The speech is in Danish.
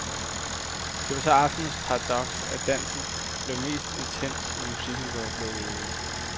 Det var så aftenens paradoks, at dansen blev mest intens, når musikken blev lukket ude.